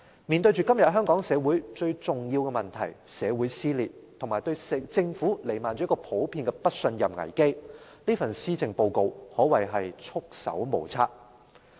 面對今天香港社會最重要的問題：社會撕裂及對政府彌漫着普遍不信任危機，這份施政報告可謂束手無策。